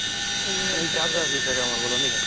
ମାନେ ଏଇ ଚାଷ ବାସ ବିଷୟରେ ଆମର ବୋଲେ ନାଇଁ କି